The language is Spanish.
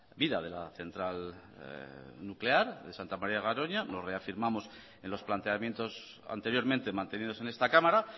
vida de la central nuclear de santa maría de garoña nos reafirmamos en los planteamientos anteriormente mantenidos en esta cámara